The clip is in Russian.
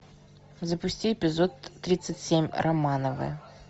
запусти эпизод тридцать семь романовы